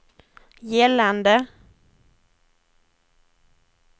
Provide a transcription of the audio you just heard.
gällande